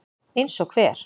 Eins og hver?